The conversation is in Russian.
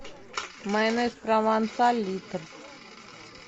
майонез провансаль литр